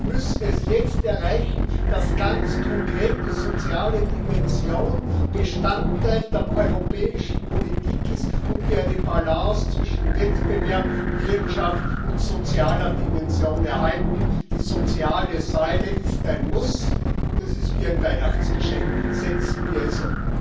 Wir müssen es jetzt erreichen, dass ganz konkret die soziale Dimension Bestandteil der europäischen Politik wird und wir eine Balance zwischen Wettbewerb, Wirtschaft und sozialer Dimension erhalten. Die soziale Säule ist ein Muss, und das ist wie ein Weihnachtsgeschenk. Setzen wir es um!